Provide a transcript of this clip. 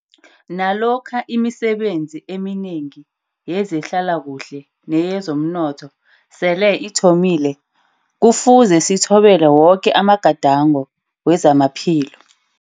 Nalokha imisebenzi eminengi yezehlalakuhle neyezomnotho sele ithomi le, Kufuze sithobele woke amagadango wezamaphilo.